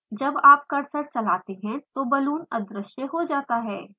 जब आप कर्सर चलाते हैं तो balloon अद्रश्य हो जाता है